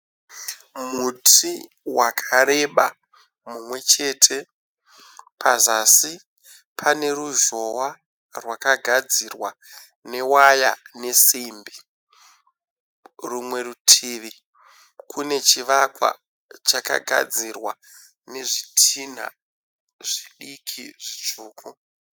Muti wakareba mumwechete, pazasi pane ruzhowa rwakagadzirwa newaya nesimbi. Rumwe rutivi kune chivakwa chakagadzirwa nezvidhinha zvidiki zvitsvuku.